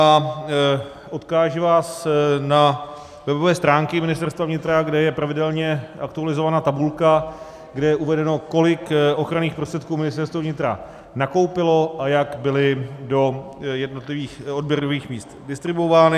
A odkážu vás na webové stránky Ministerstva vnitra, kde je pravidelně aktualizovaná tabulka, kde je uvedeno, kolik ochranných prostředků Ministerstvo vnitra nakoupilo a jak byly do jednotlivých odběrových míst distribuovány.